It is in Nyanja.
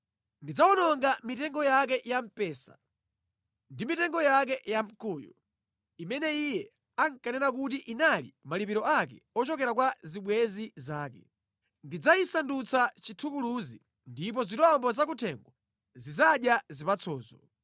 Ndidzawononga mitengo yake ya mpesa ndi mitengo yake yamkuyu, imene iye ankanena kuti inali malipiro ake ochokera kwa zibwenzi zake. Ndidzayisandutsa chithukuluzi, ndipo zirombo zakuthengo zidzadya zipatsozo.